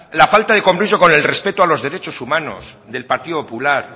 la falta de compromiso con el respeto a los derechos humanos del partido popular